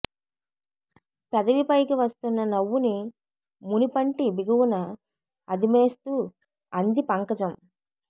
పెదవి పైకి వస్తున్న నవ్వుని మునిపంటి బిగువున అదిమేస్తూ అంది పంకజం